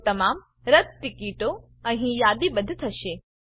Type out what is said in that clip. તો તમામ રદ્દ ટીકીટો અહીં યાદીબદ્ધ થશે